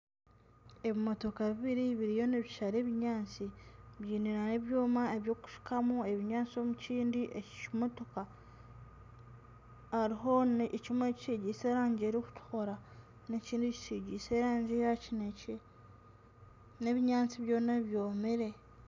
Ebimotoka bibiri biriyo nibishara ebinyaatsi byine na n'ekyoma eky'okushukamu ebinyaatsi omu kindi eki kimotoka hariho ekimwe ekitsigiise erangi erikutukura n'ekindi kitsigiise erangi ya kinekye n'ebinyaatsi byona byomire.